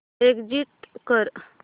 exit कर